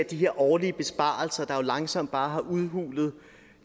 de her årlige besparelser der jo langsomt bare har udhulet